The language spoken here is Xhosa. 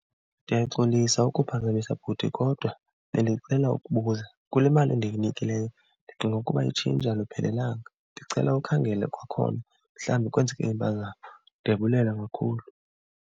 Ndiyaxolisa ukuphazamisa bhuti kodwa bendicela ukubuza. Kule mali endikunikileyo ndicinga ukuba itshintshi aluphelelanga. Ndicela ukhangele kwakhona mhlawumbi kwenzeke impazamo. Ndiyabulela kakhulu.